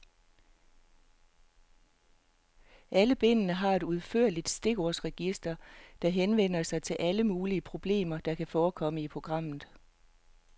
Alle bindene har et udførligt stikordsregister, der henviser til alle mulige problemer, der kan forekomme i programmet.